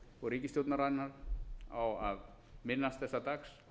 og ríkisstjórnarinnar á að minnast þessa dags